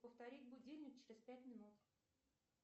повторить будильник через пять минут